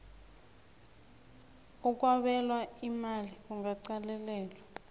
okwabelwa imali kungaqalelelwa